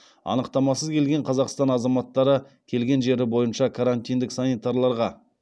анықтамасыз келген қазақстан азаматтары келген жері бойынша